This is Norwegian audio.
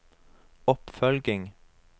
oppfølging